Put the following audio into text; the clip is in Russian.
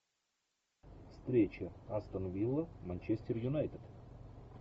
встреча астон вилла манчестер юнайтед